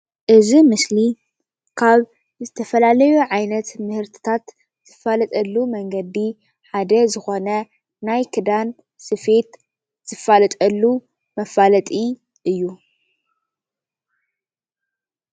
እዚ ምስሊ ካብ ዝተፈላለዩ ዓይነት ምህርትታት ዝፋለጠሉ መንገዲ ሓደ ዝኮነ ናይ ክዳን ስፌት ዝፋለጠሉ መፋለጢ እዩ።